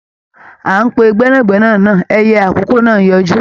À ń pe gbẹ́nàgbẹ́nà ẹyẹ àkókó ń yọjú.